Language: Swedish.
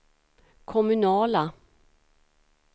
kommunala